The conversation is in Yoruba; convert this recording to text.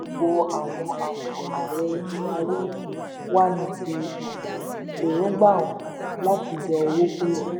gbogbo àwọn àwọn ń darí wa ni fi um èròngbà hàn láti yọ owó kúrò